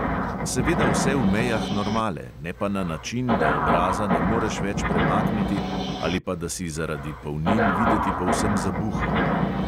Seveda vse v mejah normale, ne pa na način, da obraza ne moreš več premakniti ali pa da si zaradi polnil videti povsem zabuhel.